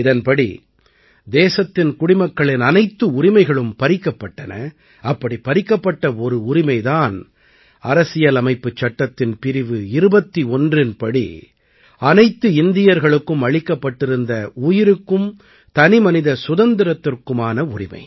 இதன்படி தேசத்தின் குடிமக்களின் அனைத்து உரிமைகளும் பறிக்கப்பட்டன அப்படிப் பறிக்கப்பட்ட ஒரு உரிமை தான் அரசியலமைப்புச் சட்டத்தின் பிரிவு 21இன் படி அனைத்து இந்தியர்களுக்கும் அளிக்கப்பட்டிருந்த உயிருக்கும் தனிமனித சுதந்திரத்துக்குமான உரிமை